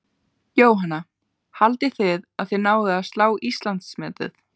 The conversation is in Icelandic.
Jóhanna: Haldið þið að þið náið að slá Íslandsmetið?